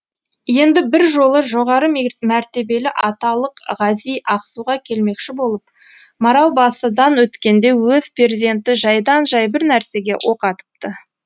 енді бір жолы жоғары мәртебелі аталық ғази ақсуға келмекші болып маралбасыдан өткенде өз перзенті жайдан жай бір нәрсеге оқ атыпты